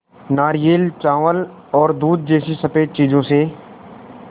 नारियल चावल और दूध जैसी स़फेद चीज़ों से